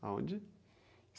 Aonde?